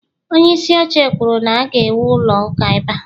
onyeisi oche kwuru na- ga-ewu ụlọ ụka ebe a